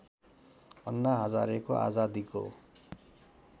अन्ना हजारेको आजादीको